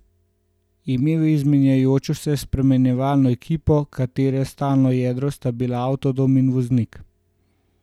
Imel je izmenjujočo se spremljevalno ekipo, katere stalno jedro sta bila avtodom in voznik.